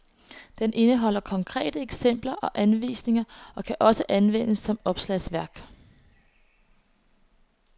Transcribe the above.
Den indeholder konkrete eksempler og anvisninger og kan også anvendes som opslagsværk.